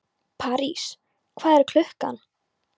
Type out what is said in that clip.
París, hvað er klukkan?